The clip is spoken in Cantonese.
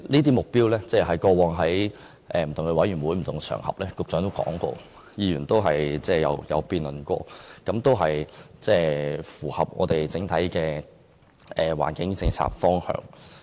局長在過往不同的委員會及場合都曾提及這些目標，議員亦曾作辯論，認為有關目標符合整體環境政策的方向。